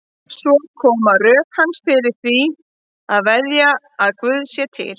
Svo koma rök hans fyrir því að veðja á að Guð sé til.